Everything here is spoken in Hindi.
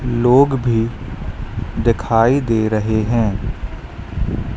लोग भी दिखाई दे रहे हैं।